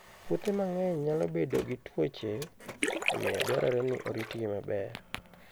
Puothe mang'eny nyalo bedo gi tuoche, omiyo dwarore ni oritgi maber.